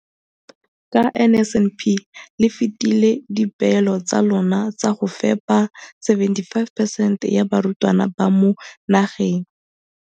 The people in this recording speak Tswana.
Ka NSNP le fetile dipeelo tsa lona tsa go fepa masome a supa le botlhano a diperesente ya barutwana ba mo nageng.